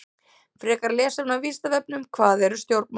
Frekara lesefni á Vísindavefnum: Hvað eru stjórnmál?